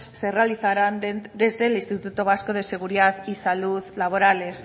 se realizaran desde el instituto vasco de seguridad y salud laborales